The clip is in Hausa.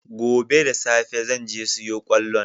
Gobe da safe zan je siyo kwallon.